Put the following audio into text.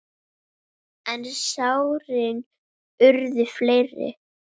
En sárin urðu fleiri.